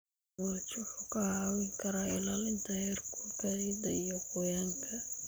Mulch wuxuu kaa caawin karaa ilaalinta heerkulka ciidda iyo qoyaanka.